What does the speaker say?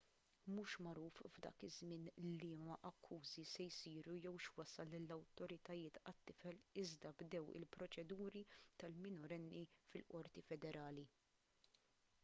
mhux magħruf f'dan iż-żmien liema akkużi se jsiru jew x'wassal lill-awtoritajiet għat-tifel iżda bdew il-proċeduri tal-minorenni fil-qorti federali